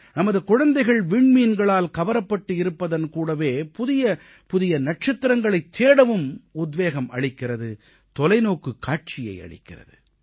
நமது குழந்தைகள் விண்மீன்களால் கவரப்பட்டு இருப்பதோடு புதிய புதிய நட்சத்திரங்களைத் தேடவும் உத்வேகம் அளிக்கிறது தொலைநோக்குக் காட்சியை அளிக்கிறது